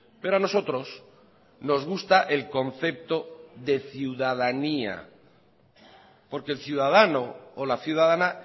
pero a nosotros nos gusta el concepto de ciudadanía porque el ciudadano o la ciudadana